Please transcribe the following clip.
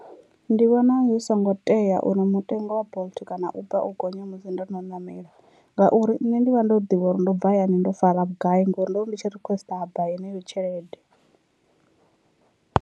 Ndi vhona zwi songo tea uri mutengo wa bolt kana uber u gonya musi ndo no namela ngauri nne ndi vha ndo ḓivha uri ndo bva hayani ndo fara vhugai ngori ndo ri ndi tshi requester ha bva yeneyo tshelede.